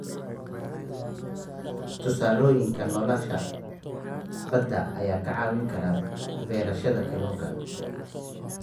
Tusaalooyinka noolaha badda ayaa ka caawin kara beerashada kalluunka.